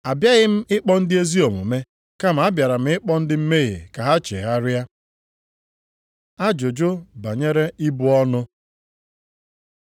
Abịaghị m ịkpọ ndị ezi omume, kama abịara m ịkpọ ndị mmehie ka ha chegharịa.” Ajụjụ banyere ibu ọnụ